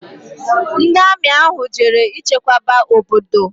Ndi Ami ahu jere ichekwaba obodo